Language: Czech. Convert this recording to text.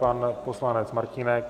Pan poslanec Martínek.